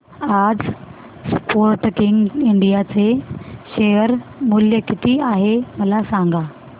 आज Sportking India चे शेअर मूल्य किती आहे मला सांगा